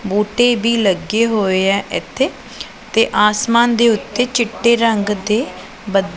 ਬੂਟੇ ਵੀ ਲੱਗੇ ਹੋਏ ਹੈ ਇਥੇ ਤੇ ਆਸਮਾਨ ਦੇ ਉੱਤੇ ਚਿੱਟੇ ਰੰਗ ਦੇ--